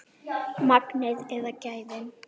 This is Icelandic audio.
Magnið eða gæðin?